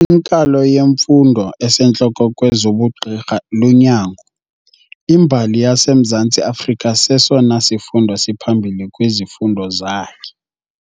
Inkalo yemfundo esentloko kwezobugqirha lunyango. imbali yaseMzantsi Afrika sesona sifundo siphambili kwizifundo zakhe